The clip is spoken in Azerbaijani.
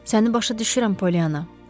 Səni başa düşürəm, Polyanna.